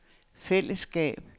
fællesskab